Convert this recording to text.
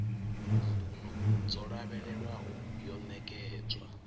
mbuno dzo lavhelelwaho yo ṋekedzwa